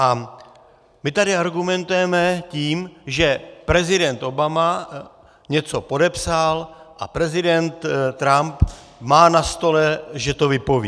A my tady argumentujeme tím, že prezident Obama něco podepsal a prezident Trump má na stole, že to vypoví.